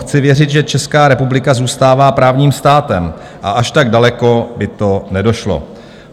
Chci věřit, že Česká republika zůstává právním státem a až tak daleko by to nedošlo.